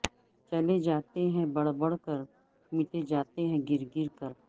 چلے جاتے ہیں بڑھ بڑھ کرمٹے جاتے ہیں گرگرکر